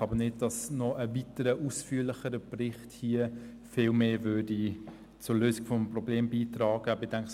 Ich denke aber nicht, dass ein weiterer ausführlicherer Bericht hier noch viel mehr zur Lösung des Problems beitragen würde.